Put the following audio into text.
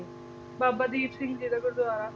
ਬਾਬਾ ਦੀਪ ਸਿੰਘ ਜੀ ਦਾ ਗੁਰਦੁਆਰਾ